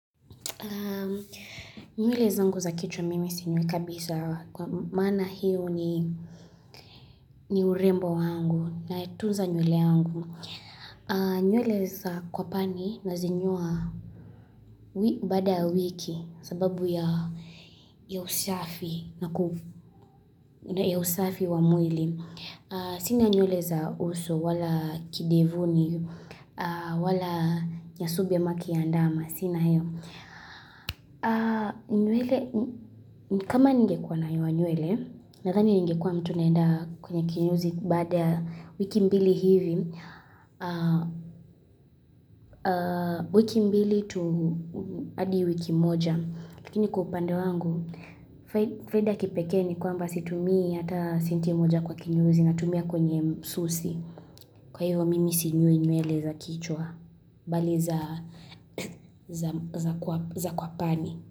Nywele zamgu za kichwa mimi sinyoi kabisa Kwa maana hiyo ni urembo wangu Natunza nywele yangu nywele za kwapani Nazinyoa baada wiki sababu ya usafi na usafi wa mwili Sina nywele za uso wala kidevuni wala nyasubi ama kiandama Sina hio nywele, kama ningekuwa nanyoa nywele Nadhani ningekwa mtu naenda kwenye kinyozi Baada ya wiki mbili hivi wiki mbili tu hadi wiki moja Lakini kwa upande wangu Faida ya kipekee ni kwamba situmii hata senti moja kwa kinyozi Natumia kwenye msusi Kwa hivyo mimi sinyoi nywele za kichwa Bali za kwapani.